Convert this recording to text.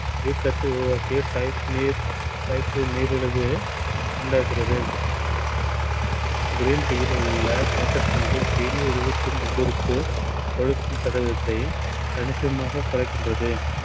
type two நீரழிவு போன்றவற்றை உண்டாகிறது. green tea யில் உள்ள தீங்கு விளைவிக்கும் உள்ளுறுப்பு கொழுப்பு படலத்தை கணிசமாக குறைக்கின்றது.